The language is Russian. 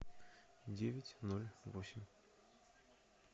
девять ноль восемь